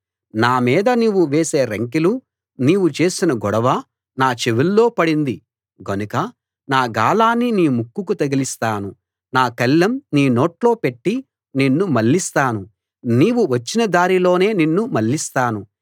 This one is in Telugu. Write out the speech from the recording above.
నా మీద నీవు వేసే రంకెలూ నీవు చేసిన గొడవ నా చెవుల్లో పడింది గనుక నా గాలాన్ని నీ ముక్కుకు తగిలిస్తాను నా కళ్ళెం నీ నోట్లో పెట్టి నిన్ను మళ్ళిస్తాను నీవు వచ్చిన దారిలోనే నిన్ను మళ్ళిస్తాను